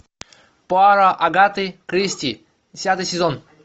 пуаро агаты кристи десятый сезон